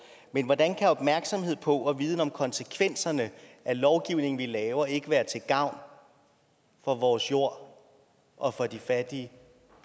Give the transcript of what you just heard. men hvordan kan opmærksomhed på og viden om konsekvenserne af lovgivning vi laver ikke være til gavn for vores jord og for de fattige